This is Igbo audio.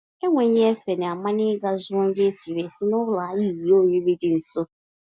Enweghị-efe na amanyem ịga zụọ nri esiri esi n'ụlọ ahịa ìhè oriri dị nso.